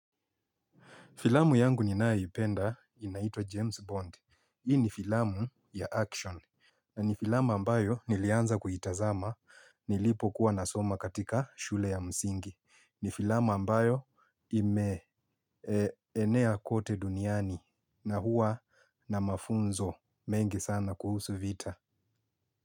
Filamu yangu ninayoipenda inaitwa James Bond. Hii ni filamu ya action. Na ni filamu ambayo nilianza kuitazama nilipo kuwa nasoma katika shule ya msingi. Ni filamu ambayo ime enea kote duniani na huwa na mafunzo mengi sana kuhusu vita.